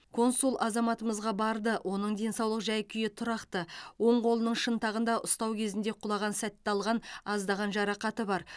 консул азаматымызға барды оның денсаулық жай күйі тұрақты оң қолының шынтағында ұстау кезінде құлаған сәтте алған аздаған жарақаты бар